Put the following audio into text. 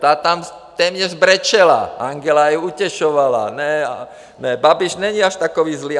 Ta tam téměř brečela, Angela ji utěšovala: Babiš není až takový zlý.